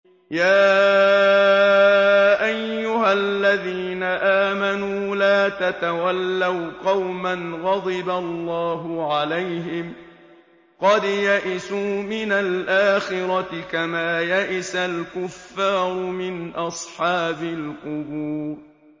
يَا أَيُّهَا الَّذِينَ آمَنُوا لَا تَتَوَلَّوْا قَوْمًا غَضِبَ اللَّهُ عَلَيْهِمْ قَدْ يَئِسُوا مِنَ الْآخِرَةِ كَمَا يَئِسَ الْكُفَّارُ مِنْ أَصْحَابِ الْقُبُورِ